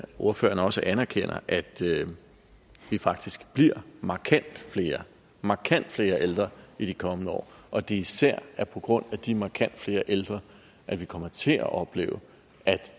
ordføreren også anerkender at vi faktisk bliver markant flere markant flere ældre i de kommende år og at det især er på grund af de markant flere ældre at vi kommer til at opleve at